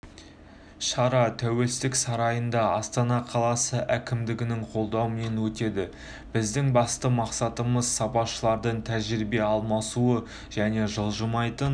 шара тәуелсіздік сарайында астана қаласы әкімдігінің қолдауымен өтеді біздің басты мақсатымыз сарапшылардың тәжірибе алмасуы және жылжымайтын